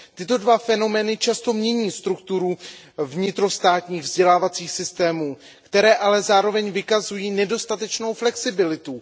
Tyto dva fenomény často mění strukturu vnitrostátních vzdělávacích systémů, které ale zároveň vykazují nedostatečnou flexibilitu.